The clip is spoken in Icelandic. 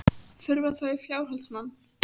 Þurfa þau fjárhaldsmann?